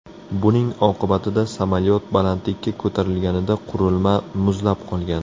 Buning oqibatida samolyot balandlikka ko‘tarilganida qurilma muzlab qolgan.